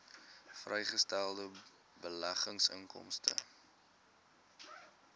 vrygestelde beleggingsinkomste